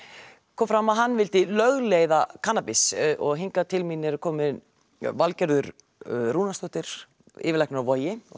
kom fram að hann vildi lögleiða kannabis og hingað til mín eru komin Valgerður Rúnarsdóttir yfirlæknir á Vogi og